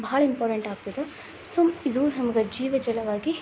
ಬಹಳ ಇಂಪಾರ್ಟೆಂಟ್ ಆಗ್ತದೆ ಸೊ ಇದು ನಮಗೆ ಜೀವ ಜಾಲವಾಗಿ --